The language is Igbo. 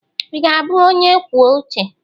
Ị ga-abụ onye kwuo uche?